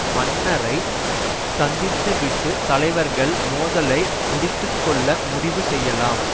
மன்னரை சந்தித்துவிட்டு தலைவர்கள் மோதலை முடித்துக்கொள்ள முடிவு செய்யலாம்